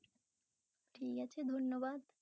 ঠিক আছে ধন্যবাদ